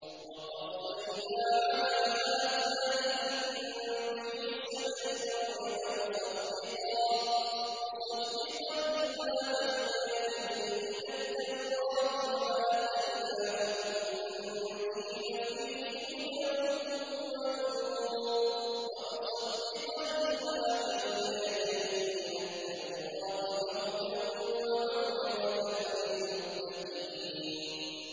وَقَفَّيْنَا عَلَىٰ آثَارِهِم بِعِيسَى ابْنِ مَرْيَمَ مُصَدِّقًا لِّمَا بَيْنَ يَدَيْهِ مِنَ التَّوْرَاةِ ۖ وَآتَيْنَاهُ الْإِنجِيلَ فِيهِ هُدًى وَنُورٌ وَمُصَدِّقًا لِّمَا بَيْنَ يَدَيْهِ مِنَ التَّوْرَاةِ وَهُدًى وَمَوْعِظَةً لِّلْمُتَّقِينَ